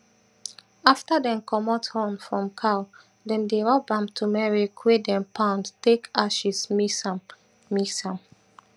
afta dem commot horn from cow dem dey rub am tumeric wey dem pound take aches mix am mix am